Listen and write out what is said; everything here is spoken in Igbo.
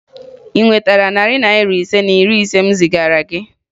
Ị nwetara narị Naira ise na iri ise m zigara gị?